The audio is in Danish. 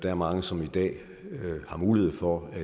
er mange som i dag har mulighed for at